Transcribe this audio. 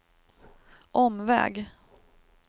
omväg